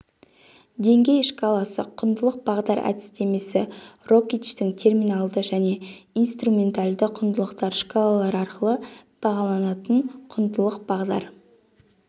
деңгей шкаласы құндылық бағдар әдістемесі рокичтің терминалды және инструменталды құндылықтар шкалалары арқылы бағаланатын құндылық бағдар